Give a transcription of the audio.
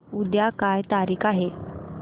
उद्या काय तारीख आहे